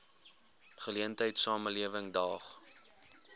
geleentheid samelewing daag